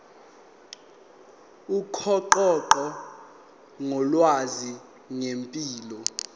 ukuxoxa ngolwazi ngempilo